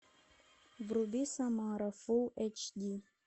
вруби самара фулл эйч ди